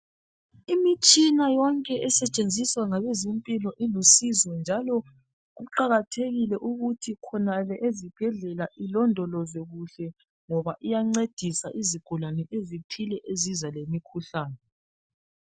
lmitshina yonke esetshenziswa ngabezempilo ilusizo njalo kuqakathekile ukuthi khona le ezibhedlela ilondolozwe kuhle ngoba iyancedisa izigulane ezithile eziza lemikhuhlane.